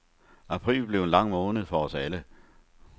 April blev en lang måned for os alle.